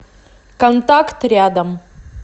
контакт рядом